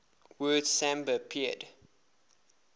word samba appeared